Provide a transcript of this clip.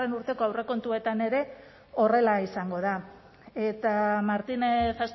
urteko aurrekontuetan ere horrela izango da eta martinez